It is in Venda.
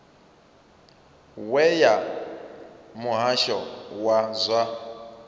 we ya muhasho wa zwa